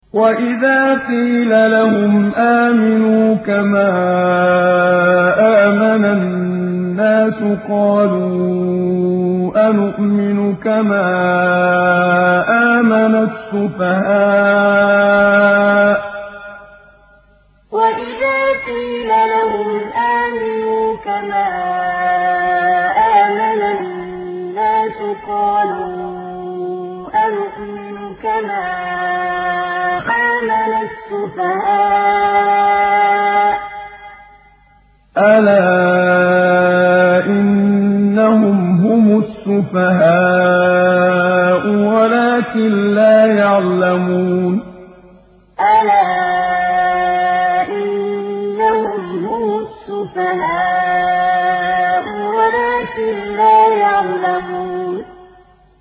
وَإِذَا قِيلَ لَهُمْ آمِنُوا كَمَا آمَنَ النَّاسُ قَالُوا أَنُؤْمِنُ كَمَا آمَنَ السُّفَهَاءُ ۗ أَلَا إِنَّهُمْ هُمُ السُّفَهَاءُ وَلَٰكِن لَّا يَعْلَمُونَ وَإِذَا قِيلَ لَهُمْ آمِنُوا كَمَا آمَنَ النَّاسُ قَالُوا أَنُؤْمِنُ كَمَا آمَنَ السُّفَهَاءُ ۗ أَلَا إِنَّهُمْ هُمُ السُّفَهَاءُ وَلَٰكِن لَّا يَعْلَمُونَ